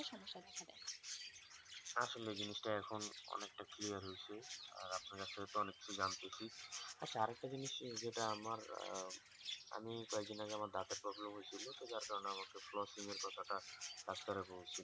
আসলে জিনিস তা এখন অনেক তা clear হয়েছে আর আপনার কাছ থেকে তো অনেক কিছু জানতেছি আচ্ছা আরেকটু জিনিস যেটা আমার আমি কয়েক দিন আগে আমার দাঁতের problem হয়েছিল তো যার কারণে আমাকে flossing এর কথা তা doctor বলছিলো